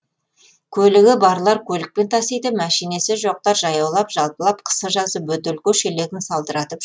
көлігі барлар көлікпен тасиды мәшинесі жоқтар жаяулап жалпылап қысы жазы бөтелке шелегін салдыратып